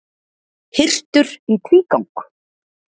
Hirtur í tvígang